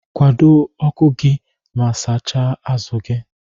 Kwado ọku gi ma sacha azu gi.